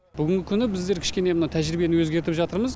бүгінгі күні біздер кішкене мына тәжірибені өзгертіп жатырмыз